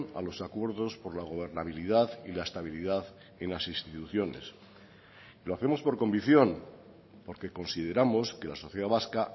a los acuerdos por la gobernabilidad y la estabilidad en las instituciones lo hacemos por convicción porque consideramos que la sociedad vasca